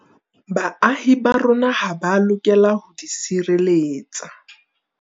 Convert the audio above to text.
Baahi ba rona ha ba lokela ho di sireletsa.